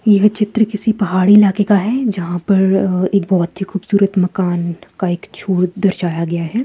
यह चित्र किसी पहाड़ी इलाके का है जहाँ पर एक बहुत ही खूबसूरत मकान का एक छूर दर्शाया गया है।